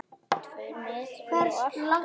Tveir metrar eru alltof lítið.